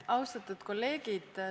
Austatud kolleegid!